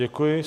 Děkuji.